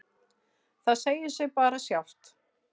Það segir sig bara sjálft.